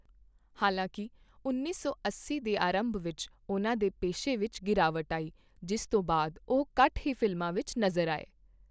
ਹਾਲਾਂਕਿ, ਉੱਨੀ ਸੌ ਅੱਸੀ ਦੇ ਅਰੰਭ ਵਿੱਚ ਉਹਨਾਂ ਦੇ ਪੇਸ਼ੇ ਵਿੱਚ ਗਿਰਾਵਟ ਆਈ, ਜਿਸ ਤੋਂ ਬਾਅਦ ਉਹ ਘੱਟ ਹੀ ਫ਼ਿਲਮਾਂ ਵਿੱਚ ਨਜ਼ਰ ਆਏ।